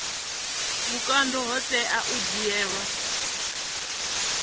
vhukando ho tea u dzhiiwa